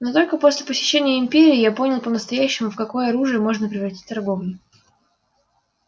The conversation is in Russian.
но только после посещения империи я понял по-настоящему в какое оружие можно превратить торговлю